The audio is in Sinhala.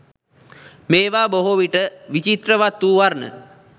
මේවා බොහෝවිට විචිත්‍රවත් වූ වර්ණ